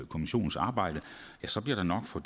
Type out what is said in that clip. kommissionens arbejde ja så bliver der nok for